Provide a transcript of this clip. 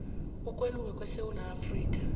ukwehluka kwesewula afrika